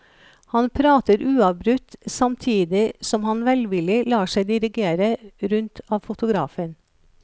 Han prater uavbrutt samtidig som han velvillig lar seg dirigere rundt av fotografen.